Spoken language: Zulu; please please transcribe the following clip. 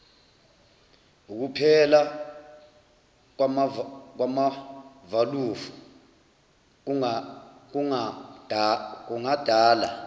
ukuphela kwamavalufu kungadala